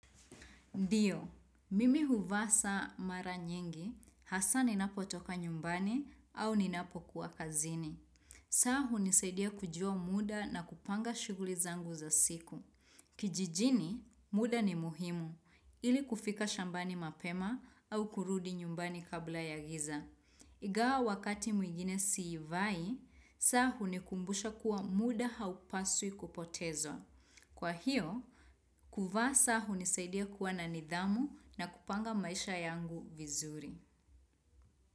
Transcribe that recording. Ndiyo, mimi huvaa saa mara nyingi, hasa ni napo toka nyumbani au ni napo kuwa kazini. Saa hunisaidia kujua muda na kupanga shuguli zangu za siku. Kijijini, muda ni muhimu, ili kufika shambani mapema au kurudi nyumbani kabla ya giza. Igawa wakati mwingine si ivai, saa hunikumbusha kuwa muda haupasui kupotezwa. Kwa hiyo, kuvaa saa hunisaidia kuwa na nidhamu na kupanga maisha yangu vizuri.